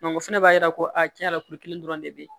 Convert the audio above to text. o fɛnɛ b'a yira ko a tiɲɛ yɛrɛ la kuru kelen dɔrɔn de bɛ yen